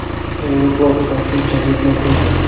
Aeroport vaqtinchalik yopildi.